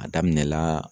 A daminɛ la